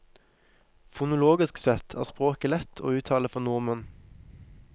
Fonologisk sett er språket lett og uttale for nordmenn.